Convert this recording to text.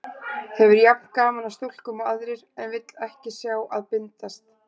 Hefur jafn gaman af stúlkum og aðrir, en vill ekki sjá að bindast.